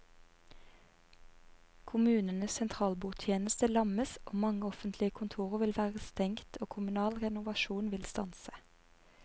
Kommunenes sentralbordtjeneste lammes, mange offentlige kontorer vil være stengt og kommunal renovasjon vil stanse.